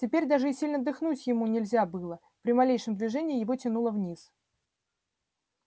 теперь даже и сильно дыхнуть ему нельзя было при малейшем движении его тянуло вниз